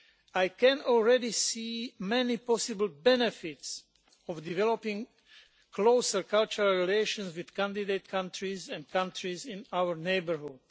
I can already see many possible benefits of a developing closer cultural relations with candidate countries and countries in our neighbourhood.